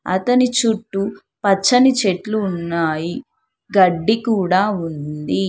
అతని చుట్టూ పచ్చని చెట్లు ఉన్నాయి గడ్డి కూడా ఉంది.